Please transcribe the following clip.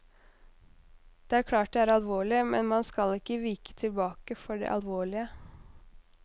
Det er klart det er alvorlig, men man skal ikke vike tilbake for det alvorlige.